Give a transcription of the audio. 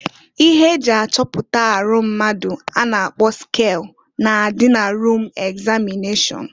Ihe eji achọpụta arọ mmadụ a na-akpọ skel na-adị na rum egzamịneshọn.